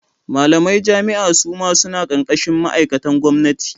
Malamai jami'a suma suna karkashin ma'aikatan gwamnati.